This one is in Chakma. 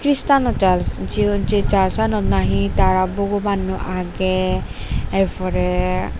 chirtano church jio je churchanot nahi tara bogobanno age ar pore.